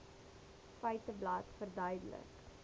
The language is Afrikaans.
feiteblad verduidelik